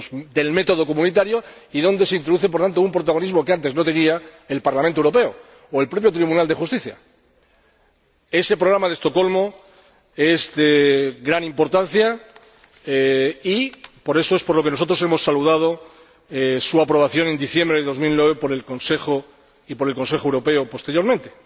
del método comunitario, y donde se introduce, por tanto, un protagonismo que antes no tenía el Parlamento Europeo o el propio Tribunal de Justicia. Ese Programa de Estocolmo es de gran importancia, y por eso es por lo que nosotros saludamos su aprobación en diciembre de 2009 por el Consejo y por el Consejo Europeo posteriormente.